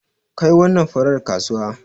Kai wannan farar kasuwa.